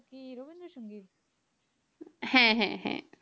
হ্যাঁ হ্যাঁ হ্যাঁ